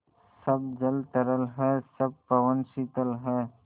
सब जल तरल है सब पवन शीतल है